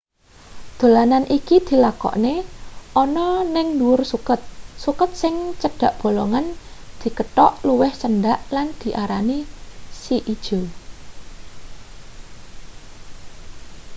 dolanan iki dilakokne ana ning ndhuwur suket suket sing cedhak bolongan dikethok luwih cendhek lan diarani si ijo